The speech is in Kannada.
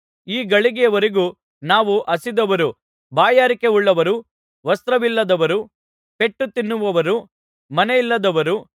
ಈ ಗಳಿಗೆಯವರೆಗೂ ನಾವು ಹಸಿದವರೂ ಬಾಯಾರಿಕೆಯುಳ್ಳವರೂ ವಸ್ತ್ರವಿಲ್ಲದವರೂ ಪೆಟ್ಟು ತಿನ್ನುವವರೂ ಮನೆಯಿಲ್ಲದವರೂ